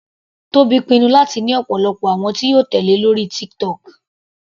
Tobi pinnu láti ní ọ̀pọ̀lọpọ̀ àwọn tí yóò tèlé lórí TikTok.